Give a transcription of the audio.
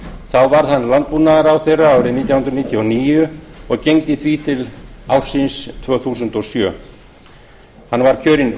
þá varð hann landbúnaðarráðherra árið nítján hundruð níutíu og níu og gegndi því til ársins þúsund og sjö hann var kjörinn